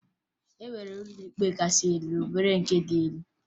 E nwere ụlọ ikpe nke kasị elu na ụlọ ikpe nke dị elu